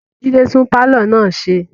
Jide tún pàlọ́ náà ṣe